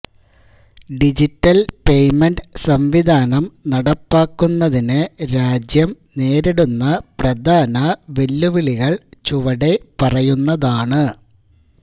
digital payment സംവിധാനം നടപ്പാക്കുന്നതിനു രാജ്യം നേരിടുന്ന പ്രധാന വെല്ലുവിളികള് ചുവടെ പറയുന്നതാണ്